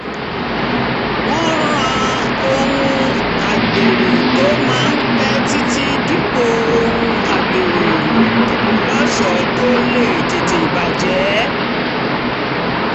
wọ́n ra ohun agbẹ́rù tó máa pẹ́ títí dípò ohun agbẹ́rù lọ́ṣọ̀ọ́ tó lè tètè bàjẹ́